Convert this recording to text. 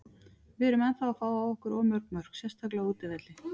Við erum ennþá að fá á okkur of mörg mörk, sérstaklega á útivelli.